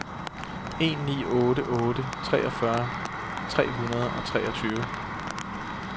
en ni otte otte treogfyrre tre hundrede og treogtyve